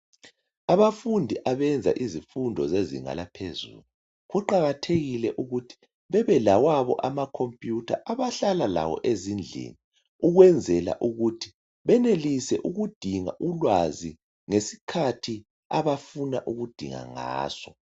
Abafundi abayenza izifundo zezinga laphezulu, kuqakathekile ukuthi babelawabo amakhompiyutha abahlala lawo ezindlini ukwenzela ukuthi benelise ukudinga ulwazi ngesikhathi abafuna ukudinga ngaso.